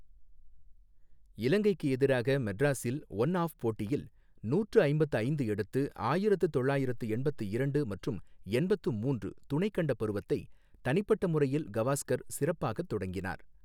இலங்கைக்கு எதிராக மெட்ராஸில் ஓன் ஆப் போட்டியில் நூற்று ஐம்பத்து ஐந்து எடுத்து, ஆயிரத்து தொள்ளாயிரத்து எண்பத்து இரண்டு மற்றும் எண்பத்து மூன்று துணைக் கண்டப் பருவத்தை தனிப்பட்ட முறையில் கவாஸ்கர் சிறப்பாக தொடங்கினார்.